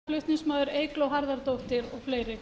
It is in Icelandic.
um klukkan tvö í